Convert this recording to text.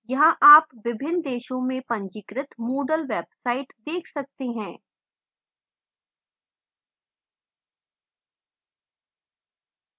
यहाँ आप विभिन्न देशों से पंजीकृत moodle websites check सकते हैं